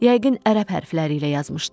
Yəqin ərəb hərfləri ilə yazmışdı.